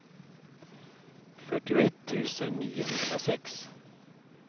fyrtioett tusen niohundrasex